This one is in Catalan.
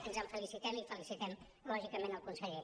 ens en felicitem i felicitem lògicament el conseller